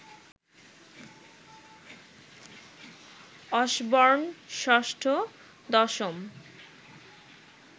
Osborne ৬ষ্ঠ, ১০ম